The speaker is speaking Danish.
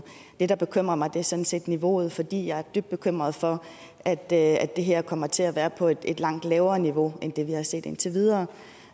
det der bekymrer mig er sådan set niveauet fordi jeg er dybt bekymret for at det at det her kommer til at være på et langt lavere niveau end det vi har set indtil videre